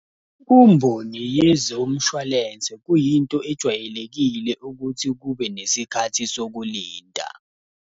Kumboni yezomshwalense kuyinto ejwayelekile ukuthi kube nesikhathi sokulinda.